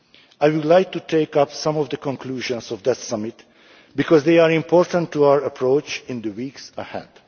May. I would like to take up some of the conclusions of that summit, because they are important to our approach in the weeks